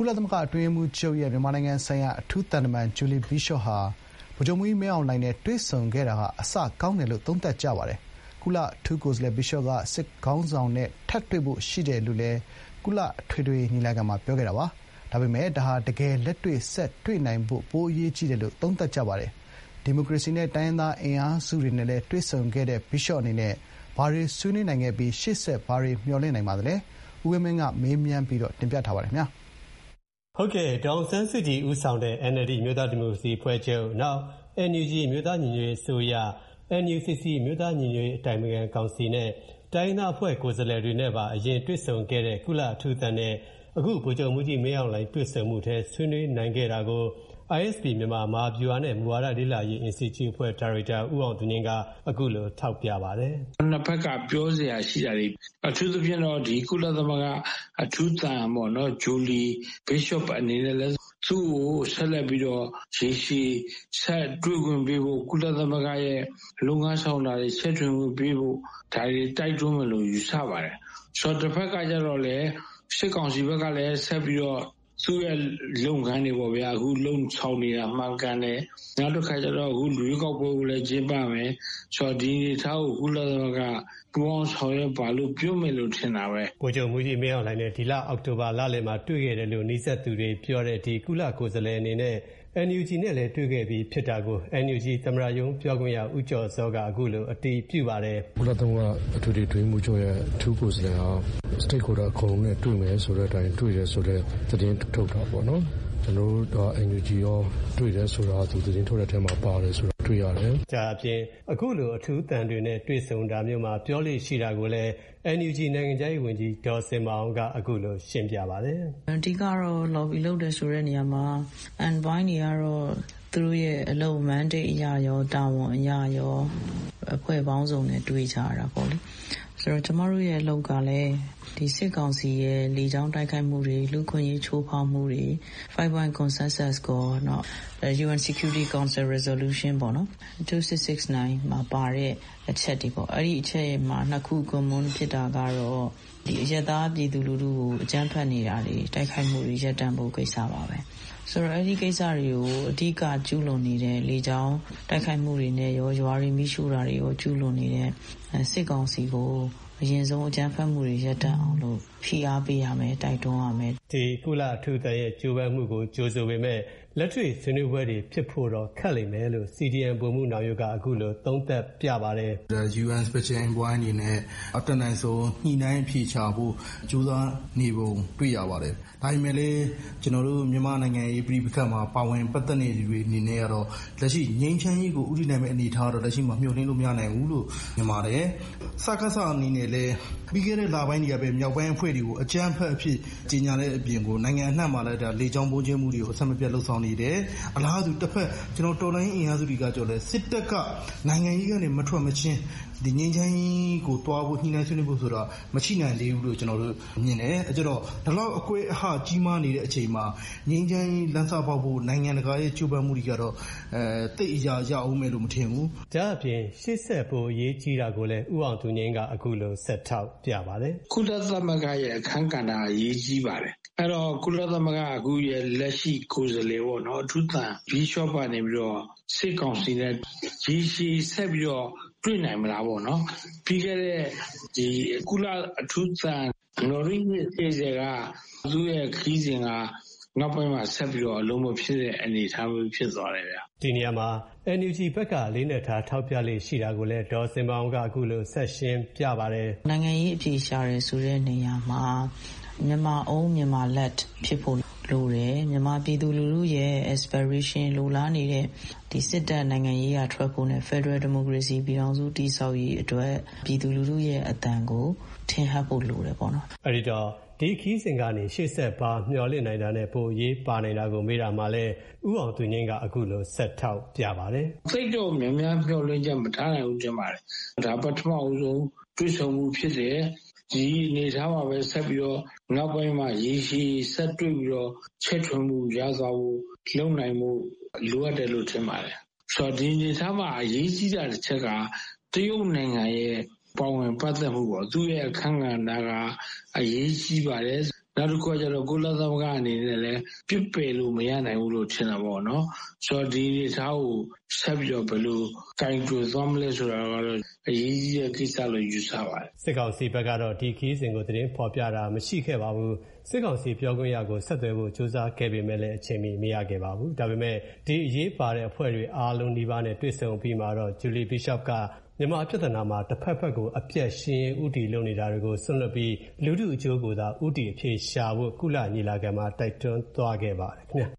ုလသမဂ္ဂအတွင်းရေးမှူးချုပ်ရဲ့ မြန်မာနိုင်ငံဆိုင်ရာ အထူးသံ တမန် Bishop က ဗိုလ်ချုပ်မှူးကြီးမင်းအောင်လှိုင်နဲ့ ထပ်တွေ့ဖို့လည်းရှိတယ်လို့ ကုလ အထွေထွေ ညီလာခံမှာ မနေ့က ပြောသွားပေမဲ့ လက်တွေ့ဆက်တွေ့နိုင်ဖို့ ပိုအရေးကြီးတယ်လို့လည်း သုံးသပ်ကြပါတယ်။ ဒီမိုကရေစီနဲ့ တိုင်းရင်းသားအင်အားစုတွေနဲ့လည်းတွေ့ဆုံခဲ့တဲ့ Bishop အနေနဲ့ ဘာတွေ ဆွေးနွေးနိုင်ခဲ့ပြီး ရှေ့ဆက် ဘာတွေ မျှော်လင့်နိုင်ပါလဲ။ ကိုဝင်းမင်းက မေးထားပါတယ်။ ဒေါ်အောင်ဆန်းစုကြည်ဦးဆောင်တဲ့ NLD အမျိုးသားဒီမိုကရေစီအဖွဲ့ချုပ်၊ NUG အမျိုးသား ညီညွတ်ရေးအစိုးရ၊NUCC အမျိုးသားညီညွတ်ရေးအတိုင်ပင်ခံကောင်စီနဲ့ တိုင်းရင်းသားအဖွဲ့ ကိုယ်စားလှယ်တွေနဲ့ပါ အရင်တွေ့ဆုံခဲ့တဲ့ကုလအထူးသံနဲ့ အခု ဗိုလ်ချုပ်မှူးကြီးမင်းအောင်လှိုင် တွေ့ဆုံမှုထဲ ဆွေးနွေးနိုင်တာကို ISP မြန်မာ မဟာဗျူဟာနဲ့ မူဝါဒလေ့လာရေး အင်စတီကျုအဖွဲ့ ဒါရိုက်တာ ဦးအောင်သူငြိမ်းက အခုလို ထောက်ပြပါတယ်။ “နှစ်ဘက်က ပြောစရာရှိတာတွေ၊ အထူးသဖြင့်တော့ ဒီ ကုလသမဂ္ဂအထူးသံပေါ့နော်၊ ဂျူလီ ဘစ်ရှော့က သူ့ကို ရေရှည်ဆက်ပြီးတွေ့ခွင့်ပေးဖို့ ကုလသမဂ္ဂရဲ့လုပ်ငန်းဆောင်တာတွေ ဆက် ချဲ့ထွင်ခွင့်ပေးဖို့ ဒါတွေ တိုက်တွန်းမယ်လို့ ယူဆရပါတယ်။ တဘက်ကကျတော့လည်း စစ်ကောင်စီ ဘက်ကလည်း ဆက်ပြီးတော့ သူ့ရဲ့လုပ်ငန်းတွေပေါ့ဗျာ၊ အခု လုပ်ဆောင်နေတာ မှန်ကန်တယ်။ နောက်တခါကျတော့လည်း ရွေးကောက်ပွဲကိုလည်း ကျင်းပမယ်၊ ဆိုတော့ ဒီအနေအထားကို ကုလသမဂ္ဂက ပူးပေါင်းဆောင်ရွက်ပါ-လို့ ပြောမယ်လို့ ထင်တာပဲ။” ဗိုလ်ချုပ်မှူးကြီးမင်းအောင်လှိုင်နဲ့ ဒီလ အောက်တိုဘာလလယ်မှာတွေ့ခဲ့တယ်လို့ နီးစပ်သူတွေပြောတဲ့ ဒီကုလကိုယ်စားလှယ်အနေနဲ့ NUG နဲ့လည်း တွေ့ခဲ့ပြီးဖြစ်တာကို NUG သမ္မတရုံး ပြောခွင့်ရ ဦးကျော်ဇောက အခုလိုအတည်ပြုပါတယ်။ “ကုလသမဂ္ဂ အထွေထွေအတွင်းရေးမှူးချုပ်ရဲ့အထူးကိုယ်စားလှယ်က “stakeholder အကုန်လုံးနဲ့ တွေ့မယ်ဆိုတဲ့အတိုင်း တွေ့တယ်” ဆိုတဲ့သတင်းထုတ်တာပေါ့နော်။ ကျနော်တို့ NUG ရော တွေ့တယ် ဆိုတာကိုလည်း သတင်းထုတ်တဲ့ထဲမှာ တွေ့ရတယ်။” အခုလို အထူးသံတွေနဲ့ တွေ့ဆုံတာမျိုးမှာ ပြောလေ့ရှိတာကိုလည်း နိုင်ငံခြားရေးဝန်ကြီး ဒေါ်ဇင်မာအောင်က အခုလိုရှင်းပြပါတယ်။ “အဓိက,ကတော့ lobby လုပ်တယ်ဆိုတဲ့နေရာမှာ envoy တွေကတော့ သူတို့ရဲ့လုပ်ငန်းအရရော ၊ တာဝန်အရရော အဖွဲ့ပေါင်းစုံနဲ့တွေ့ကြရတာပေါ့လေ။ ဆိုတော့ ကျမတို့ရဲ့အလုပ်ကလည်း စစ်ကောင်စီရဲ့လေကြောင်းတိုက်ခိုက်မှုတွေ၊ လူ့အခွင့်အရေးချိုးဖောက်မှုတွေ၊ five points consensus ကော၊ နောက် UN security council resolution ပေါ့နော်၊ ၂၆၆၉ မှာပါတဲ့ အချက်တွေပေါ့။ အဲဒီ အချက်တွေထဲမှာ နှစ်ခု common ဖြစ်နေတာက အရပ်သားပြည်သူလူထုကို အကြမ်းဖက် နေတာတွေ၊ တိုက်ခိုက်မှုတွေရပ်တန့်ဖို့ကိစ္စပါပဲ။ ဆိုတော့ အဲဒီကိစ္စတွေကို အဓိကကျူးလွန်နေတဲ့ လေကြောင်း တိုက်ခိုက်မှုတွေရော၊ ရွာတွေမီးရှို့တာတွေရော ကျူးလွန်နေတဲ့စစ်ကောင်စီကို အရင်ဆုံး အကြမ်းဖက်မှုတွေရပ်တန့်အောင် ဖိအားပေးရမယ်၊ တိုက်တွန်းရမယ်။” ဒီ ကုလအထူးသံရဲ့ ကြိုးပမ်းမှုကိုကြိုဆိုပေမဲ့ လက်တွေ့ဆွေးနွေးပွဲတွေဖြစ်ဖို့တော့ ခက်လိမ့်မယ်လို့ CDM ဗိုလ်မှူးနောင်ရိုးက အခုလို သုံးသပ်ပြပါတယ်။ “UN special envoy အနေနဲ့ အတတ်နိုင်ဆုံး ညှိနှိုင်းအဖြေရှာဖို့ ကြိုးစားနေပုံ တွေ့ရပါတယ်။ ဒါပေမဲ့လည်း ကျနော်တို့ မြန်မာ့နိုင်ငံရေးပဋိပက္ခမှာ ပါဝင်ပတ်သက်နေသူတွေအနေနဲ့ကတော့ ငြိမ်းချမ်းရေးကိုဦးတည်နိုင်မယ့်အနေအထားကတော့ လက်ရှိမှာ မျှော်လင့်လို့မရနိုင်ဘူးလို့ မြင်ပါတယ်။ စကစအနေနဲ့လည်း ပြီးခဲ့တဲ့လပိုင်းတွေကပဲ မြောက်ပိုင်းအဖွဲ့တွေကို အကြမ်းဖက်အဖွဲ့အဖြစ် ကြေညာ တဲ့အပြင်ကို နိုင်ငံအနှံ့မှာလည်း လေကြောင်းဗုံးကြဲမှုတွေကို အဆက်မပြတ်လုပ်ဆောင်နေတယ်။ အလားတူ တော်လှန်ရေးအင်အားစုတွေကကျတော့လည်း စစ်တပ်က နိုင်ငံရေးထဲကနေ မထွက်မချင်း ငြိမ်းချမ်းရေးကိုသွားဖို့ ညှိနှိုင်းဆွေးနွေးဖို့ဆိုတာ မရှိနိုင်သေးဘူးလို့ မြင်တယ်။ ပြီးကျတော့ ဒီလောက် အကွဲအဟ ကြီးမားနေတဲ့အချိန်မှာ ငြိမ်းချမ်းရေးလမ်းစပေါက်ဖို့ နိုင်ငံတကာရဲ့ကြိုးပမ်းမှုတွေကတော့ သိပ်အရာရောက်အုံးမယ်လို့ မထင်ဘူး။” ဒါ့အပြင် ရှေ့ဆက် ပိုအရေးကြီးတာကိုလည်း ဦးအောင်သူငြိမ်းက အခုလို ဆက်ထောက်ပြပါတယ်။ “ကုလသမဂ္ဂရဲ့အခန်းကဏ္ဍက အရေးကြီးပါတယ်။ အဲဒီတော့ ကုလသမဂ္ဂရဲ့ အခုလက်ရှိ ကိုယ်စားလှယ် ပေါ့နော်၊ အထူးသံ ဘစ်ရှော့ကနေပြီးတော့ စစ်ကောင်စီနဲ့ရေရှည်ဆက်ပြီးတော့ တွေ့နိုင်မလားပေါ့၊ ပြီးခဲ့တဲ့ ကုလသမဂ္ဂရဲ့အထူးသံ နိုလင်း ဟေဇယ်က သူ့ရဲ့ခရီးစဥ်က နောက်ပိုင်းမှာ ဆက်ပြီး အလုပ်မဖြစ်တဲ့အနေအထားမျိုးဖြစ်သွားတယ်ဗျ။“ ဒီနေရာမှာ NUG ဘက်က အလေးအနက်ထား ထောက်ပြလေ့ရှိတာကိုလည်း ဒေါ်ဇင်မာအောင်က အခုလို ဆက်ရှင်းပြပါတယ်။ “နိုင်ငံရေးအဖြေရှာတယ်ဆိုတဲ့နေရာမှာ Myanmar Own, Myanmar Led ဖြစ်ဖို့လိုတယ်၊ မြန်မာပြည်သူ လူထုရဲ့ inspiration လိုလားနေတဲ့ စစ်တပ်နိုင်ငံရေးထဲကနေထွက်ဖို့၊ ဖက်ဒရယ်ဒီမိုကရေစီ ပြည်ထောင်စု တည်ဆောက်ရေးအတွက် ပြည်သူလူထုရဲ့အသံကို ထင်ဟပ်ဖို့လိုတယ်ပေါ့နော်။” ဒီ ခရီးစဉ်ကနေ ရှေ့ဆက်ဘာမျှော်လင့်နိုင်တာနဲ့ ပိုအရေးပါနိုင်တာကို မေးတာမှာလည်း ဦးအောင်သူငြိမ်းက အခုလိုဆက်ထောက်ပြပါတယ်။ “သိပ်တော့ မျှော်လင့်ချက်များများမထားနိုင်ဘူးထင်ပါတယ်။ ဒါ ပထမဆုံး တွေ့ဆုံမှုဖြစ်တယ်။ ဒီအနေအထားမှာပဲဆက်ပြီးတော့ နောက်ပိုင်းမှာရေရှည်ဆက်တွေ့ပြီးတော့ ချဲ့ထွင်မှုရသွားဖို့၊ လုပ်နိုင်ဖို့လိုအပ်တယ်လို့ ထင်ပါတယ်။ ဆိုတော့ ဒီအနေအထားမှာ အရေးကြီးတာတချက်က တရုတ်နိုင်ငံရဲ့ပါဝင်ပတ်သက်မှုပေါ့၊ သူ့ရဲ့အခန်းကဏ္ဍက အရေးကြီးပါတယ်။ နောက်တခုကကျတော့ ကုလသမဂ္ဂအနေနဲ့လည်း ပစ်ပယ်လို့မရနိုင်ဘူးလို့ ထင်တာပေါ့နော်။ ဆိုတော့ ဒီအနေအထားကို ဆက်ပြီးတော့ ဘယ်လိုကိုင်တွယ်သွားမလဲဆိုတာတော့ အရေးကြီးတဲ့ကိစ္စလို့ ယူဆပါတယ်။ စစ်ကောင်စီဘက်ကတော့ ဒီခရီးစဉ်ကို သတင်းဖော်ပြတာမရှိခဲ့ပါဘူး။ စစ်ကောင်စီ ပြောခွင့်ရကို ဆက်သွယ်ဖို့ ကြိုးစားခဲ့ပေမဲ့ အချိန်မီ မရခဲ့ပါဘူး။ ဒါပေမဲ့ ဒီအရေးပါသူအားလုံးနီးပါးနဲ့ တွေ့ဆုံ အပြီးမှာတော့ Julie Bishop က မြန်မာပြဿနာမှာ တဖက်ဘက်ကို အပြတ်ရှင်းရေး ဦးတည်နေကြ တာတွေကို စွန့်လွှတ်ပြီး လူထုအကျိုးကိုသာ ဦးတည်အဖြေရှာဖို့ ကုလညီလာခံမှာ တိုက်တွန်းသွားခဲ့ပါတယ်ခင်ဗျာ